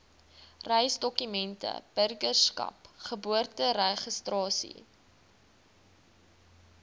reisdokumente burgerskap geboorteregistrasie